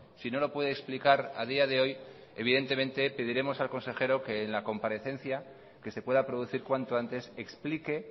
si no lo puede explicar a día de hoy evidentemente pediremos al consejero que en la comparecencia que se pueda producir cuanto antes explique